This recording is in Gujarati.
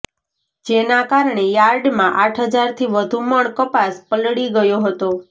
જેના કારણે યાર્ડમાં આઠ હજારથી વધુ મણ કપાસ પલળી ગયો હતો